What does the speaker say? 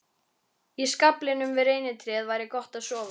Í skaflinum við reynitréð væri gott að sofa.